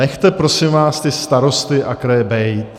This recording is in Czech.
Nechte, prosím vás, ty starosty a kraje být.